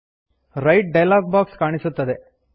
write dialog box ಕಾಣಿಸುತ್ತದೆ